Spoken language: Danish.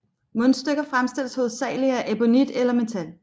Mundstykker fremstilles hovedsagelig af ebonit eller metal